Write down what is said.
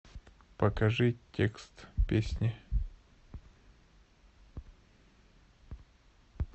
покажи текст песни